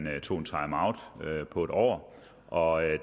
tog en timeout på et år og